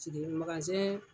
Sigi magasɛn